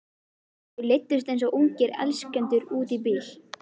Þau leiddust eins og ungir elskendur út í bíl.